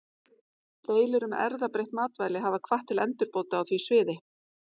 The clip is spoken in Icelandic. Deilur um erfðabreytt matvæli hafa hvatt til endurbóta á því sviði.